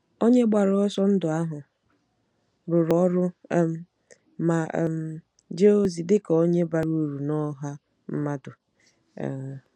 Onye gbara ọsọ ndụ ahụ rụrụ ọrụ um ma um jee ozi dị ka onye bara uru na ọha mmadụ. um